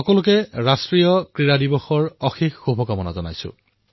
সকলোকে ৰাষ্ট্ৰীয় খেল দিৱসৰ বহুতো শুভকামনা প্ৰদান কৰিলো